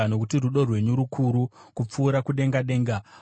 Nokuti rudo rwenyu rukuru, kupfuura kudenga denga;